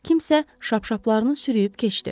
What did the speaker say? Kimsə şapşaplarını sürüyüb keçdi.